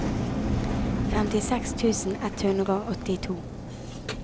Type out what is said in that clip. femtiseks tusen ett hundre og åttito